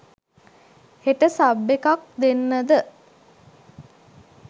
හෙට සබ් එකක් දෙන්නද?